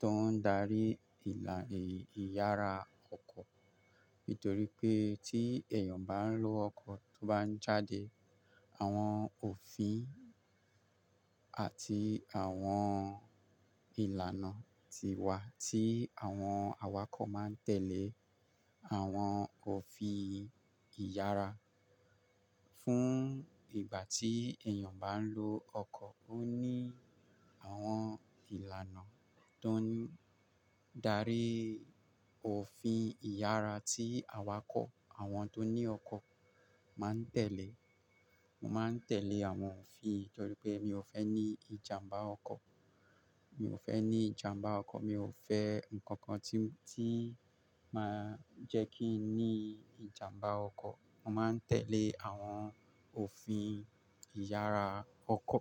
To ń darí ìlà ìyára ọkọ̀ nítorí pé tí èèyàn bá lọ ọkọ̀ tó bá jáde, àwọn òfin Ati àwọn ìlànà ti wà tí àwọn awakọ̀ máa ń tẹ́lẹ̀. Àwọn òfin ìyára fún ìgbà tí èèyàn bá ń lo ọkọ̀. Ó ní àwọn ìlànà tó ń darí òfin ìyára tí awakọ̀ àwọn tó ní ọkọ̀ máa ń tẹ̀lé. Mo máa ń tẹ́lẹ̀ àwọn òfin nítorí pé mi ò fẹ́ ní ìjàmbá ọkọ̀. Mi ò fẹ́ ní ìjàmbá ọkọ̀. Mi ò fẹ́ nǹkan kan tí máa ń jẹ́ kí n ní ìjàmbá ọkọ̀. Mo máa ń tẹ́lẹ̀ àwọn òfin ìyára ọkọ̀.